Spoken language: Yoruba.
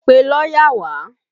Pe lọ́yà wá!